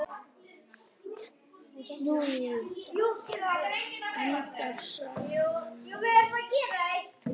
Endar sagan vel?